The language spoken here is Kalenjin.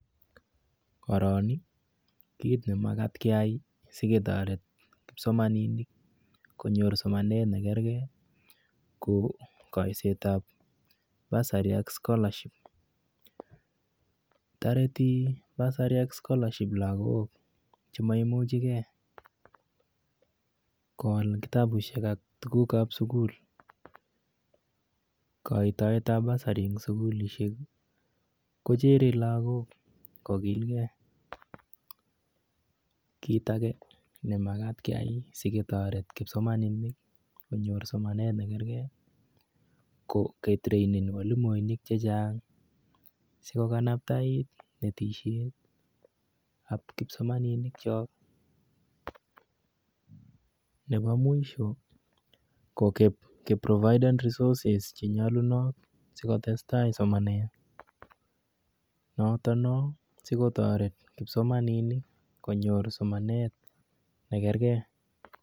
Koron ii kiit ne makaat keyring ko ketoret kipsomaninik konyor somanet nekarkei ko koisetab basari anako splashing Targeting basari ak skolaship lakok chemaimuchikei koal kitabushek ak tukukab sukul Koitetab basai eng sukulishek kochere lakok kokilkei Kit ake ne makat ketaret kipsomaninik konyor somanet nekaekei ko ketrainen mwalimuinik checking sikokanabta konetisietab kipsomaninik chok Nepo mwisho ko keprovidan resoses chenyalunot sikotestai somanet.